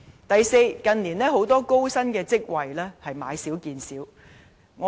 第四，近年高薪職位越來越少。